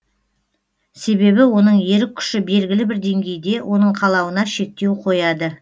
себебі оның ерік күші белгілі бір деңгейде оның қалауына шектеу қояды